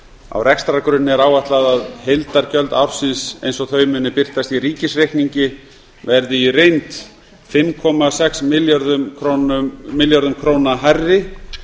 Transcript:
á rekstrargrunni er áætlað að heildargjöld ársins eins og þau muni birtast í ríkisreikningi verði í reynd fimm komma sex milljörðum króna hærri